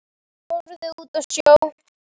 Horfði út á sjóinn.